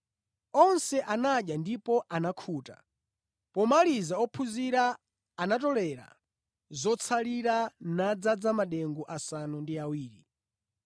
Onse anadya ndipo anakhuta. Pomaliza ophunzira anatolera zotsalira nadzaza madengu asanu ndi awiri.